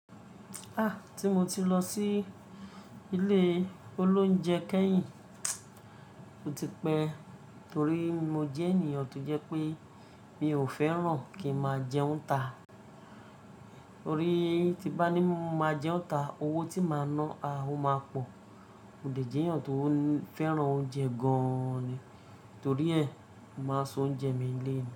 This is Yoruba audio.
A! Tí mo ti lọ sí ilé oloúnjẹ kẹ́yìn, ó ti pẹ́ torí mo jẹ́ ènìyàn tó jẹ́ pé mi ò fẹ́ràn kí máa jẹun ta. Torí tí bá ní máa jẹun ta, owó tí màá ná, a ó máa pọ̀. Mo dẹ̀ jẹ́ ènìyàn tó fẹ́ràn oúnjẹ gan ni, torí ẹ̀, mo màá se oúnjẹ mi nile ni.